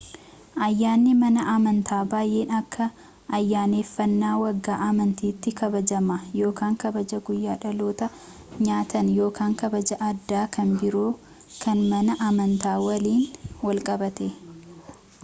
ayyanni mana amantaa baayeen akka ayyanneefanna waggaa amantatti kabaajama ykn kabajaa guyyaa dhaloota nyaatan ykn kabajaa addaa kan biroo kan mana amantaa waliin wal qabate